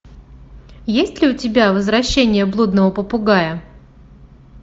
есть ли у тебя возвращение блудного попугая